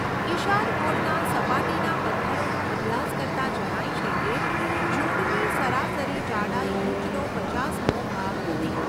ઈશાન કોણના સપાટીના પત્થરોનો અભ્યાસ કરતાં જણાય છે કે જોડની સરાસરી જાડાઈ ઈંચનો પચાસમો ભાગ હતી.